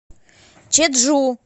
чеджу